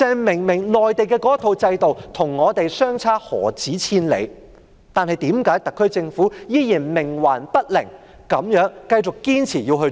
明明內地的制度與我們的制度相差何止千里，但為何特區政府仍然冥頑不靈，繼續堅持要這樣做？